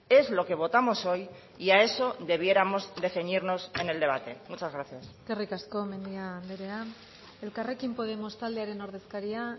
es lo que votamos hoy y a eso debiéramos de ceñirnos en el debate muchas gracias eskerrik asko mendia anderea elkarrekin podemos taldearen ordezkaria